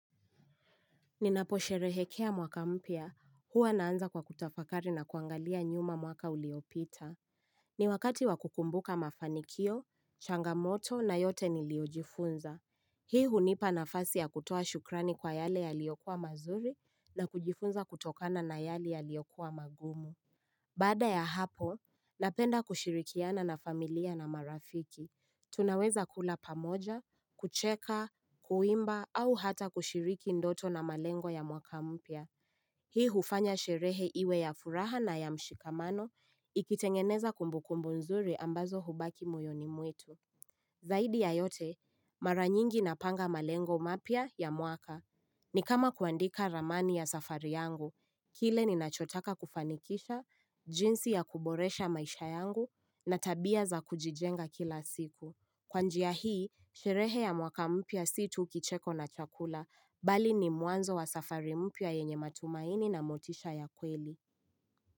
Ninapo sherehekea mwaka mpya, huwa naanza kwa kutafakari na kuangalia nyuma mwaka uliopita. Ni wakati wa kukumbuka mafanikio, changamoto na yote niliyojifunza. Hii hunipa nafasi ya kutoa shukrani kwa yale yaliyokuwa mazuri na kujifunza kutokana na yale yaliyokuwa magumu. Baada ya hapo, napenda kushirikiana na familia na marafiki. Tunaweza kula pamoja, kucheka, kuimba au hata kushiriki ndoto na malengo ya mwaka mpya Hii hufanya sherehe iwe ya furaha na ya mshikamano Ikitengeneza kumbukumbu nzuri ambazo hubaki moyoni mwetu Zaidi ya yote, mara nyingi napanga malengo mapya ya mwaka ni kama kuandika ramani ya safari yangu Kile ninachotaka kufanikisha, jinsi ya kuboresha maisha yangu na tabia za kujijenga kila siku Kwa njia hii, sherehe ya mwaka mpya si tu kicheko na chakula, bali ni mwanzo wa safari mpya yenye matumaini na motisha ya kweli.